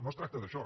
no es tracta d’això